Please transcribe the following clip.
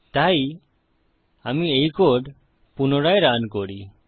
তাই আমি এই কোড পুনরায় রান করি